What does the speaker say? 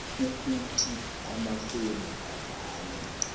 ukuthi amafemu avule